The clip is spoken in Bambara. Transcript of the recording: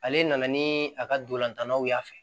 Ale nana ni a ka ntolantanw y'a fɛ